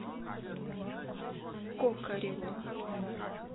кокареву